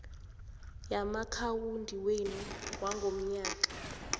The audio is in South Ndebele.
yamaakhawundi wenu wangomnyaka